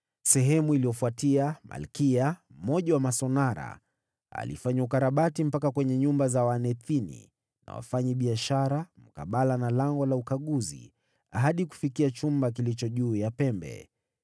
Baada yake Malkiya, mmoja wa masonara, alifanya ukarabati mpaka kwenye nyumba za watumishi wa Hekalu na wafanyabiashara, mkabala na Lango la Ukaguzi, hadi kufikia chumba kilicho juu ya pembe.